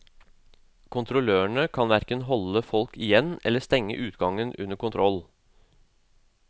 Kontrollørene kan hverken holde folk igjen eller stenge utgangen under kontroll.